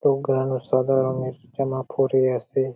সাদা রঙের জামা পরে আছে ।